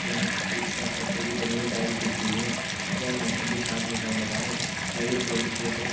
इसका पत्थर कि बनी हुई टाइल्स दिख रही हुई है जहाँ मौसम भी साफ दिखाई दे रहा है जहाँ ये --